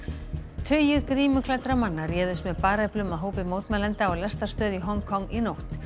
tugir grímuklæddra manna réðust með bareflum að hópi mótmælenda á lestarstöð í Hong Kong í nótt